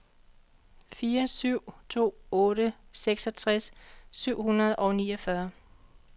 fire syv to otte seksogtres syv hundrede og niogfyrre